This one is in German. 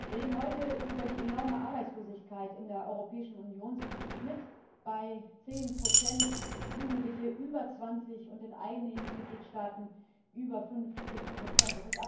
Herr Präsident! Wir reden heute über die enorme Arbeitslosigkeit in der Europäischen Union. Sie liegt im Schnitt bei zehn Prozent, bei Jugendlichen über zwanzig Prozent und in einigen Mitgliedstaaten über fünfzig Prozent.